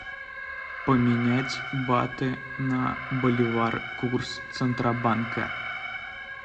поменять баты на боливары курс центробанка